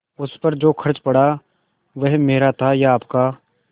उस पर जो खर्च पड़ा वह मेरा था या आपका